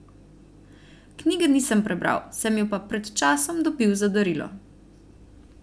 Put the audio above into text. Knjige nisem prebral, sem jo pa pred časom dobil za darilo.